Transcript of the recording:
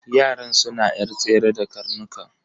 Yaran suna yar tsere da karnukan.